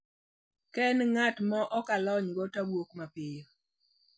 Ka en ng`at ma ok alonygo to awuok mapiyo."